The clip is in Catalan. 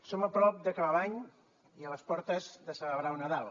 som a prop d’acabar l’any i a les portes de celebrar el nadal